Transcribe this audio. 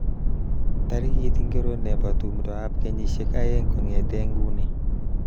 Tarikit ingiro nebo tumdoab kenyishek aeng kongete nguni